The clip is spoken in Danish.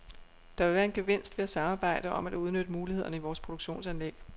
Der vil være en gevinst ved at samarbejde om at udnytte mulighederne i vores produktionsanlæg.